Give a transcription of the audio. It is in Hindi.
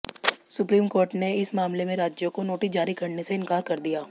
सुप्रीम कोर्ट ने इस मामले में राज्यों को नोटिस जारी करने से इनकार कर दिया